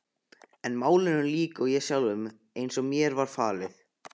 En málinu lýk ég sjálfur, eins og mér var falið.